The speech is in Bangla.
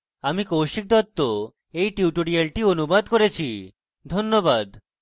আমি কৌশিক দত্ত এই টিউটোরিয়ালটি অনুবাদ করেছি ধন্যবাদ